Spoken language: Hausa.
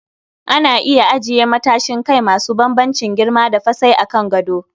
Ana iya ajiye matsashin kai masu bambamcin girma da fasai a kan gado